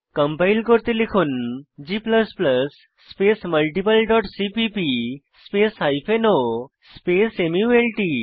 compile করতে লিখুন g space multiple dot CPP space o space মাল্ট